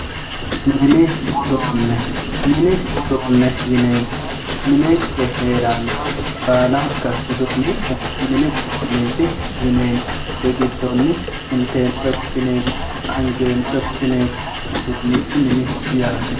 mini uduune mini uduune yineemohu minenke heerannoha baalanka uduunicho mini uduuneeti yineemo kuri giddonni inteemore wodhineemoho angeemore wodhineemoho uduunichi miniho yaate.